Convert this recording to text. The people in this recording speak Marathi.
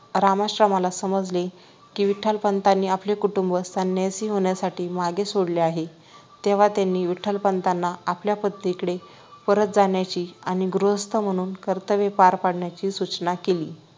रामाश्रमाला समजले कि विठ्ठलपंत आपले कुटुंब संन्यासी होण्यासाठी मागे सोडले आहे तेव्हा त्यांनी विठ्ठलपंतांना आपल्या पत्नीकडे परत जाण्याची आणि गृहस्थ म्हणून कर्तव्ये पार पाडण्याची सूचना केली